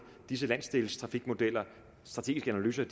disse landsdelstrafikmodeller de strategiske analyser